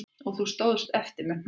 Og þú stóðst eftir með hnoðann